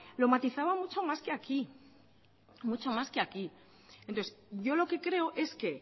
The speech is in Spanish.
lo matizaba mucho más que aquí mucho más que aquí entonces yo lo que creo es que